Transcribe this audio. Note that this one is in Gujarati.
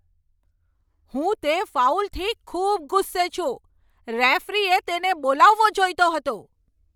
હું તે ફાઉલથી ખૂબ ગુસ્સે છું! રેફરીએ તેને બોલાવવો જોઈતો હતો.